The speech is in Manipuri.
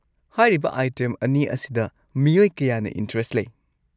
ꯍꯥꯏꯔꯤꯕ ꯑꯥꯏꯇꯦꯝ ꯑꯅꯤ ꯑꯁꯤꯗ ꯃꯤꯑꯣꯏ ꯀꯌꯥꯅ ꯏꯟꯇꯔꯦꯁꯠ ꯂꯩ꯫